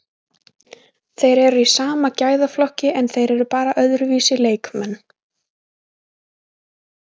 Þeir eru í sama gæðaflokki en þeir eru bara öðruvísi leikmenn,